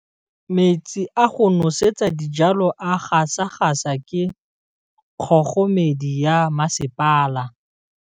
Metsi a go nosetsa dijalo a gasa gasa ke kgogomedi ya masepala.